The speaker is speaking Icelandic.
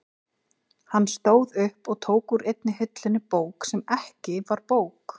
Hann stóð upp og tók úr einni hillunni bók sem ekki var bók.